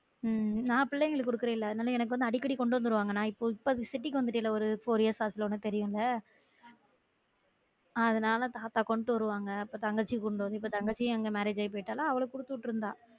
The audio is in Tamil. உம் நான் பிள்ளைங்களுக்கு குடுக்குறன்ல அதனால எனக்கு வந்து அடிக்கடி கொண்டு வந்துருவாங்க நான் இப்போம் இப்போ city க்கு வந்துட்டேன்ல ஒரு four years ஆச்சுல உனக்கு தெரியும்ல அதனால தாத்தா கொண்டு வருவாங்க அப்போ தங்கச்சி இருக்கும் போது இப்ப தங்கச்சியும் அங்க marriage ஆயி போயிட்டாளா அவளுக்கு குடுத்து விட்டுருந்தா